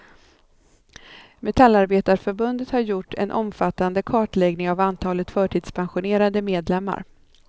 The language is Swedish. Metallarbetareförbundet har gjort en omfattande kartläggning av antalet förtidspensionerade medlemmar.